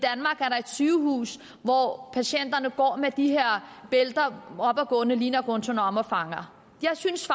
sygehus hvor patienter går med de her bælter og ligner guantanamofanger jeg synes